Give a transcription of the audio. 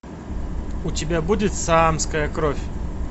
у тебя будет саамская кровь